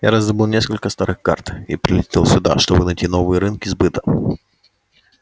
я раздобыл несколько старых карт и прилетел сюда чтобы найти новые рынки сбыта